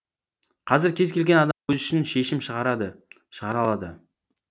қазір кез келген адам өзі үшін шешім шығарады шығара алады